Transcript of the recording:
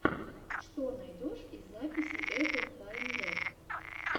что найдешь из записей эпл файндэ